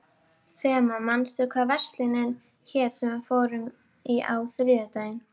Fema, manstu hvað verslunin hét sem við fórum í á þriðjudaginn?